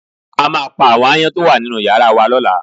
A máa pa àwọn aáyán tó wà nínú yàrá wa